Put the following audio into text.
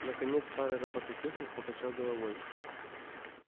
наконец старый робототехник покачал головой